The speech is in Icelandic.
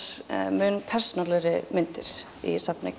mun persónulegri myndir í